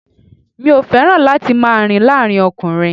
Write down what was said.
Mi ò fẹ́ràn láti máa rìn láàárín ọkùnrin